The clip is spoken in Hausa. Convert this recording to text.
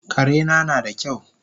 Karena nada kyau